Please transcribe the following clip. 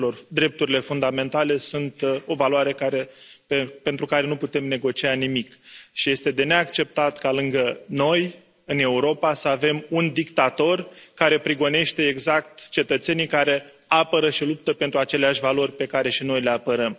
Drepturile fundamentale sunt o valoare pentru care nu putem negocia nimic și este de neacceptat ca lângă noi, în Europa, să avem un dictator care prigonește exact cetățenii care apără și luptă pentru aceleași valori pe care și noi le apărăm.